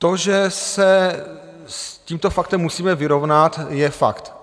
To, že se s tímto faktem musíme vyrovnat, je fakt.